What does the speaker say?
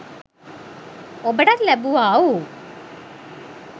ඔබටත් ලැබුවා වූ